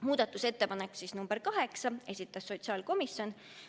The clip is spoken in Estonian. Muudatusettepanek nr 8, esitas sotsiaalkomisjon.